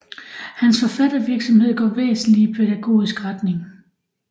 Hans forfattervirksomhed går væsentlig i pædagogisk retning